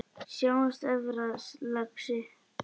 Sjáumst efra, lagsi!